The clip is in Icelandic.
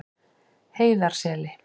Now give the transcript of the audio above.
Heiðarseli